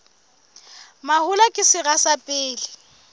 mahola ke sera sa pele